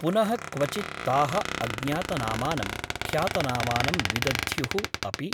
पुनः क्वचित् ताः अज्ञातनामानं ख्यातनामानं विदध्युः अपि ।